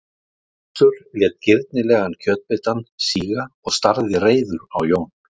Össur lét girnilegan kjötbitann síga og starði reiður á Jón